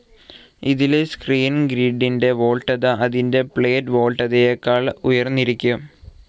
ഇതിലെ സ്ക്രീൻ ഗ്രിഡിൻ്റെ വോൾട്ടേജ്‌ അതിൻ്റെ പ്ലേറ്റ്‌ വോൾട്ടതയെക്കാൾ ഉയർന്നിരിക്കും.